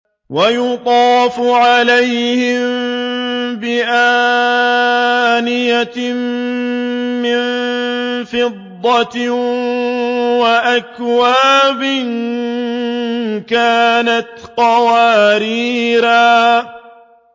وَيُطَافُ عَلَيْهِم بِآنِيَةٍ مِّن فِضَّةٍ وَأَكْوَابٍ كَانَتْ قَوَارِيرَا